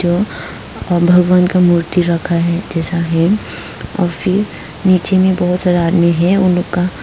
और भगवान का मूर्ति रखा है इतने सारे और फिर नीचे में बहुत सारा आदमी है उनका--